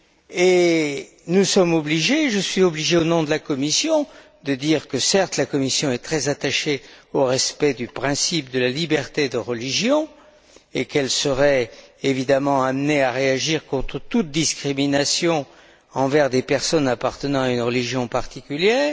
Et nous sommes obligés je suis obligé au nom de la Commission, de dire que, certes, la Commission est très attachée au respect du principe de la liberté de religion et qu'elle serait évidemment amenée à réagir contre toute discrimination envers des personnes appartenant à une religion particulière.